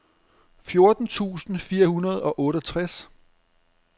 fjorten tusind fire hundrede og otteogtres